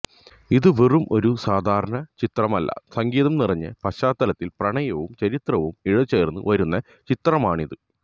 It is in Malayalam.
ഇത് വെറും ഒരു സാധാരണ ചിത്രം അല്ല സംഗീതം നിറഞ്ഞ പശ്ചാത്തലത്തില് പ്രണയവും ചരിത്രവും ഇഴ ചേര്ന്ന് വരുന്ന ചിത്രമാണിത്